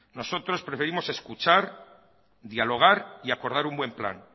nosotros preferimos escuchar dialogar y acordar un buen plan